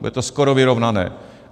Bude to skoro vyrovnané.